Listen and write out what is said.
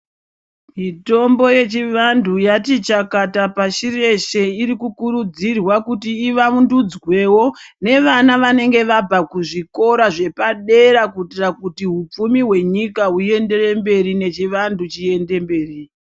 Mitombo yechivantu yati chakata pashi reshe irikukurudzirwa kuti ivaundudzwewo nevana vanenge vabva kuzvikora zvepadera kuitira kuti hupfumi hwenyika huenderere mberi nechivantu chiende mberi .